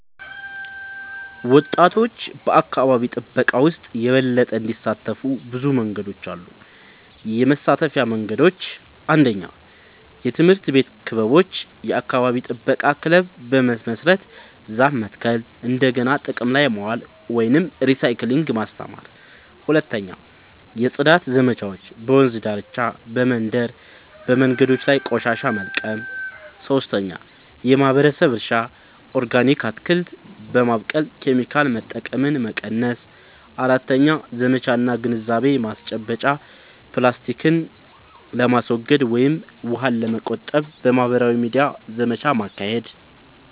ወጣቶች በአካባቢ ጥበቃ ውስጥ የበለጠ እንዲሳተፉ ብዙ መንገዶች አሉ -የመሳተፊያ መንገዶች፦ 1. የትምህርት ቤት ክበቦች – የአካባቢ ጥበቃ ክለብ በመመስረት ዛፍ መትከል፣ እንደገና ጥቅም ላይ ማዋል (recycling) ማስተማር። 2. የጽዳት ዘመቻዎች – በወንዝ ዳርቻ፣ በመንደር መንገዶች ላይ ቆሻሻ መልቀም። 3. የማህበረሰብ እርሻ – ኦርጋኒክ አትክልት በማብቀል ኬሚካል መጠቀምን መቀነስ። 4. ዘመቻ እና ግንዛቤ ማስጨበጫ – ፕላስቲክን ለማስወገድ ወይም ውሃን ለመቆጠብ በማህበራዊ ሚዲያ ዘመቻ ማካሄድ።